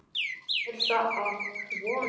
Er það að vonum.